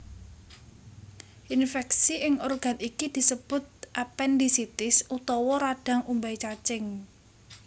Infèksi ing organ iki disebut apendisitis utawa radhang umbai cacing